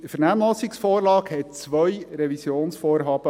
Die Vernehmlassungsvorlage umfasste zwei Revisionsvorhaben: